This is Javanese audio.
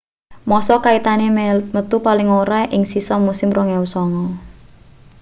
massa kaitane metu paling ora ing sisa musim 2009